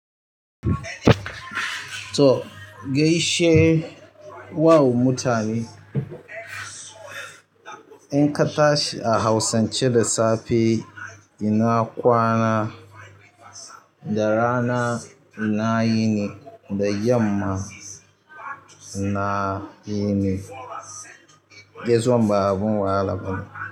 To gaishe wa mutane. In ka tashi a hausance da safe ina kwana, da rana, ina yini, da yamma ina yini. Gaisuwan ba abun wahala bane.